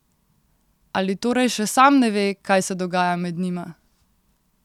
Ali torej še sam ne ve, kaj se dogaja med njima?